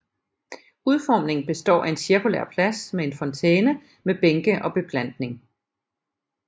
Udformningen består af en cirkulær plads med en fontæne med bænke og beplantning